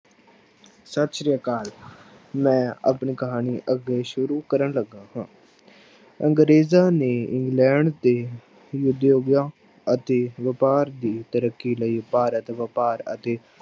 ਸਤਿ ਸ੍ਰੀ ਅਕਾਲ ਮੈਂ ਆਪਣੀ ਕਹਾਣੀ ਅੱਗੇ ਸ਼ੁਰੂ ਕਰਨ ਲੱਗਾ ਹਾਂ ਅੰਗਰੇਜ਼ਾਂ ਨੇ ਇੰਗਲੈਂਡ ਦੇ ਉਦਯੋਗਾਂ ਅਤੇ ਵਾਪਾਰ ਦੀ ਤਰੱਕੀ ਲਈ ਭਾਰਤ ਵਾਪਾਰ ਅਤੇ